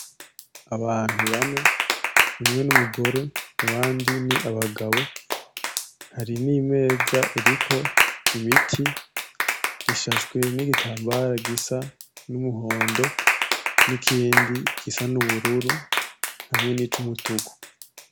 Abantu bane umwe numugore abandi ni abagabo, hari nimeza iriko imiti isashwe nigitambara gisa numuhondo nikindi gisa nubururu nikindi gisa numutuku.